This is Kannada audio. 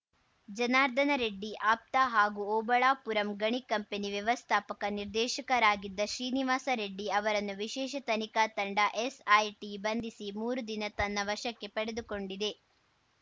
ಜನಾರ್ದನ ರೆಡ್ಡಿ ಆಪ್ತ ಹಾಗೂ ಓಬಳಾಪುರಂ ಗಣಿ ಕಂಪನಿ ವ್ಯವಸ್ಥಾಪಕ ನಿರ್ದೇಶಕರಾಗಿದ್ದ ಶ್ರೀನಿವಾಸ ರೆಡ್ಡಿ ಅವರನ್ನು ವಿಶೇಷ ತನಿಖಾ ತಂಡ ಎಸ್‌ಐಟಿ ಬಂಧಿಸಿ ಮೂರು ದಿನ ತನ್ನ ವಶಕ್ಕೆ ಪಡೆದುಕೊಂಡಿದೆ